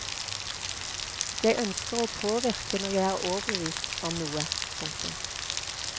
Jeg ønsker å påvirke når jeg er overbevist om noe. punktum